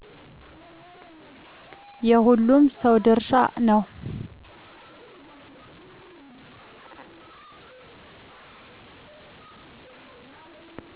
የሁሉም ሰው ድርሻ ነው